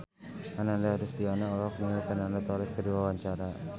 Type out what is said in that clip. Ananda Rusdiana olohok ningali Fernando Torres keur diwawancara